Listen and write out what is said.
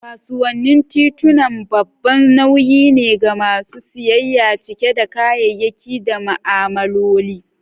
Kasuwannin tituna babban nauyi ne ga masu siyayya, cike da kayayyaki da ma'amaloli.